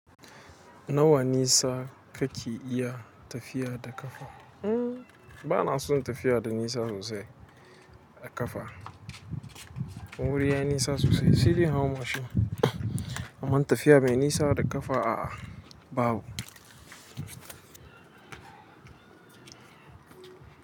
Nawa nisa kake iya tafiya da ƙafa? Hmm bana son tafiya da nisa sosai da ƙafa. Wuri yayi nisa sosai, sai dai in hau mashin. Amma tafiya mai nisa da ƙafa a'a babu.